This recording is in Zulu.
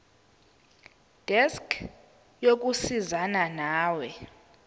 desk yokusizana nawe